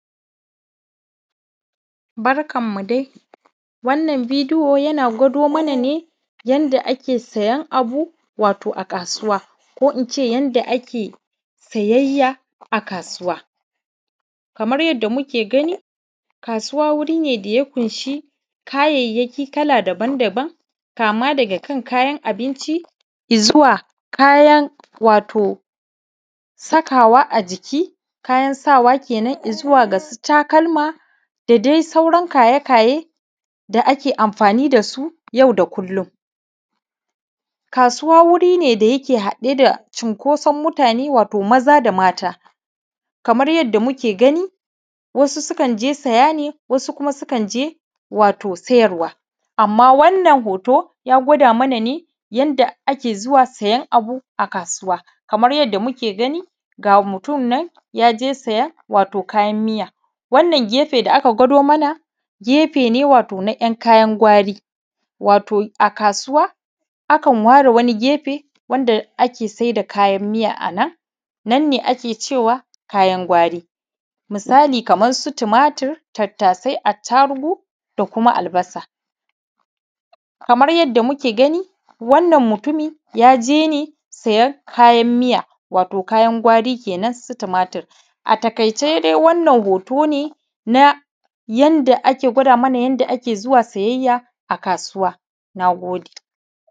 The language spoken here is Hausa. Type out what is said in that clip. Barkanmu dai wannan bidiyo yana gwado mana ne yadda ake siyan abu ne a kasuwa ko ince yadda ake siyayya a kasuwa kamar yadda muka gani kasuwa wuri ne da yake ƙunshi kayayyaki kala daban-daban kama daga kan kayan abinci izuwa kayan wato sakawa a jiki kayan sawa kenan izuwa ga su takalma da dai sauran kaye-kaye da ake anfani da su yau da kullum kasuwa wuri ne wanda yake haɗe sa cunkusan jama'a da mutane maza da mata kamar yadda muka gani wasu sukan je siya ne wasu sukan je siyarwa ne amma wannan hoto ya gwada mana ne yadda ake zuwa siyan abu ne a kasuwa kama yadda muka gani ga mutun nan ya je siyan wato kayan miya wannan gefe da aka gwado mana gefe ne wato na ‘yankayan gwari wato a kasuwa akan ware wannin gefe wanda ake sa'i da kayan miya nanne ake cewa kayan gwari misali kamar su tomatur tattasai attarugu da kuma albasa kamar yadda muka gani wannan mutumi ya je ne siyan kayan miya wato kayan gwari kenan su tomatur a taƙaice dai wannan hoto na yanda ake gwada yanda ake zuwa siyayya kasuwa na gode